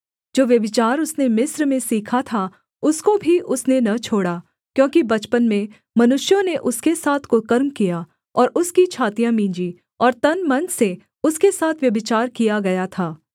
जो व्यभिचार उसने मिस्र में सीखा था उसको भी उसने न छोड़ा क्योंकि बचपन में मनुष्यों ने उसके साथ कुकर्म किया और उसकी छातियाँ मींजी और तनमन से उसके साथ व्यभिचार किया गया था